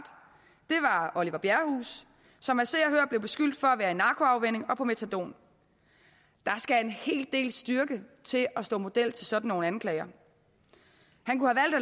oliver bjerrehus som af se og hør blev beskyldt for at være i narkoafvænning og på metadon der skal en hel del styrke til at stå model til sådan nogle anklager